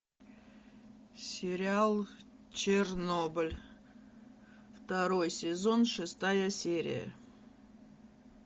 сериал чернобыль второй сезон шестая серия